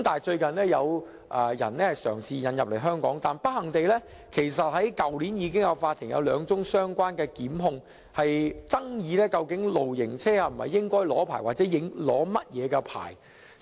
最近有人嘗試將露營車引入香港，但不幸地，法庭已有兩宗相關檢控，爭議究竟露營車應否領取牌照或領取甚麼牌照。